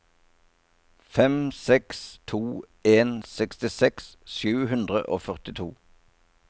fem seks to en sekstiseks sju hundre og førtito